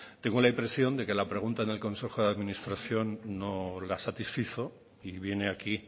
tengo la impresión de que la pregunta en el consejo de administración no la satisfizo y viene aquí